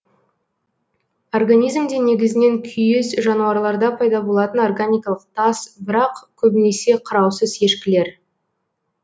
организмде негізінен күйіс жануарларда пайда болатын органикалық тас бірақ көбінесе қараусыз ешкілер